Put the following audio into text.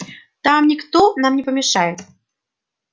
там никто нам не помешает